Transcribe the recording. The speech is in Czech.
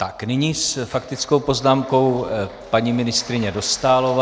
Tak nyní s faktickou poznámkou paní ministryně Dostálová.